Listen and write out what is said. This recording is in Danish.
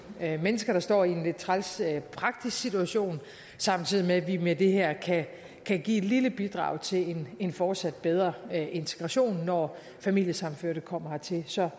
mennesker der står i en lidt træls praktisk situation samtidig med at vi med det her kan kan give et lille bidrag til en fortsat bedre integration når familiesammenførte kommer hertil så